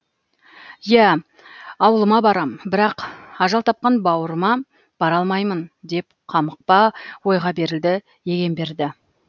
иә ауылыма барам бірақ ажал тапқан баурыма бара алмаймын деп қамықпа ойға берілді егемберді